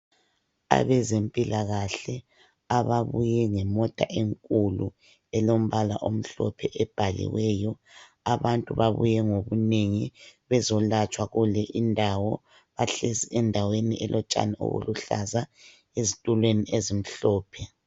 Abezempilakahle ababuye ngemota enkulu elombala omhlophe ebhaliweyo. Abantu babuye ngobunengi bezolatshwa kule indawo. Bahlezi endaweni elotshani obuluhlaza ezitulweni ezimhlophe.